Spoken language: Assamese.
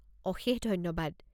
অশেষ ধন্যবাদ।